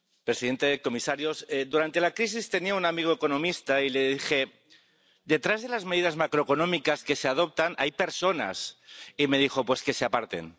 Señora presidenta, señores comisarios, durante la crisis tenía un amigo economista y le dije Detrás de las medidas macroeconómicas que se adoptan hay personas. Y me dijo Pues que se aparten.